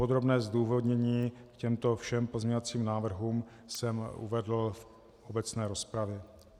Podrobné zdůvodnění k těmto všem pozměňovacím návrhům jsem uvedl v obecné rozpravě.